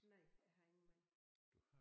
Nej jeg har ingen mand